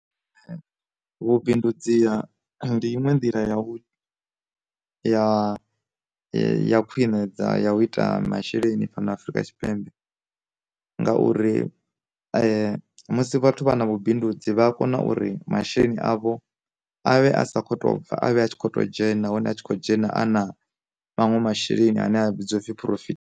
Vhu bindudzi ha ndi iṅwe nḓila ya u ya ya khwine ya u ita masheleni fhano Afrika Tshipembe, ngauri musi vhathu vha na vhubindudzi vha a kona uri masheleni avho avhe a sa kho to bva avhe a tshi kho to dzhena hone a tshi khou dzhena a na manwe masheleni ane a vhidziwa upfhi phurofithi.